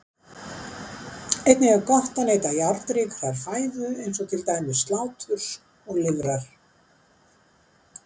Einnig er gott að neyta járnríkrar fæðu eins og til dæmis sláturs og lifrar.